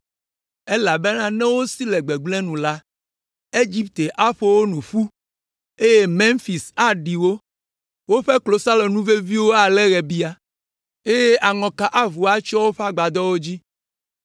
Elabena ne wosi le gbegblẽ nu la, Egipte aƒo wo nu ƒu, eye Memfis aɖi wo. Woƒe klosalonu veviwo alé ɣebia, eye aŋɔka avu atsyɔ woƒe agbadɔwo dzi.